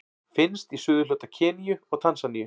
Finnst í suðurhluta Keníu og Tansaníu.